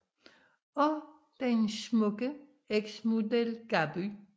Og den smukke eks model Gaby